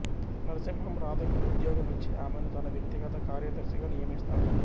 నరసింహం రాధకు ఉద్యోగం ఇచ్చి ఆమెను తన వ్యక్తిగత కార్యదర్శిగా నియమిస్తాడు